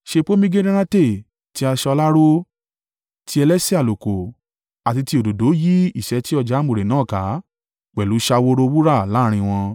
Ṣe pomegiranate ti aṣọ aláró, ti elése àlùkò àti ti òdòdó yí ìṣẹ́tí ọ̀já àmùrè náà ká, pẹ̀lú ṣaworo wúrà láàrín wọn.